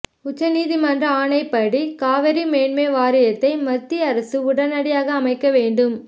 உச்சநீதிமன்ற ஆணைப்படி காவிரி மேண்மை வாரியத்தை மத்திய அரசு உடனடியாக அமைக்க வேண்டும்